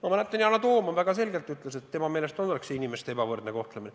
Ma mäletan, et Yana Toom ütles väga selgelt, et tema meelest oleks see inimeste ebavõrdne kohtlemine.